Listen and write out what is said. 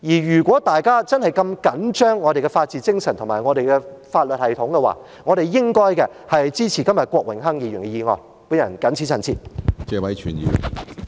如果大家真的如此緊張我們的法治精神及法律系統，便應該支持郭榮鏗議員今天的議案。